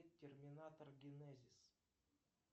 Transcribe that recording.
терминатор генезис